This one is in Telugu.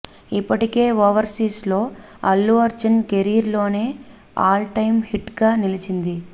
ఇప్పటికే ఓవర్సీస్లో అల్లు అర్జున్ కెరీర్లోనే ఆల్ టైమ్ హిట్గా నిలిచింది